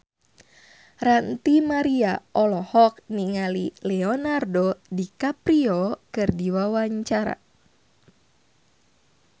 Ranty Maria olohok ningali Leonardo DiCaprio keur diwawancara